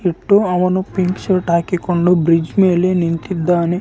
ಇಲ್ಲಿ ಒಂದು ರಸ್ತೆ ಒಬ್ಬರು ಸೈಕಲ್ ನಲ್ಲಿ ಏನು ಸಾಮಾನು ಇಟ್ಕೊಂಡು ಹೋಗ್ತಾ ಇದರೆ ಇಲ್ಲಿ ಮುಂದುಗಡೆ ಒಂದು ದೊಡ್ಡದು ನದಿ ಇದೆ .